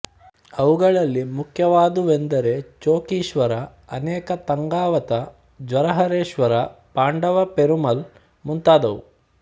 ಅವುಗಳಲ್ಲಿ ಮುಖ್ಯವಾದುವೆಂದರೆ ಚೊಕ್ಕೀಶ್ವರ ಅನೇಕ ತಂಗಾವಥ ಜ್ವರಹರೇಶ್ವರ ಪಾಂಡವ ಪೆರುಮಾಳ್ ಮುಂತಾದವು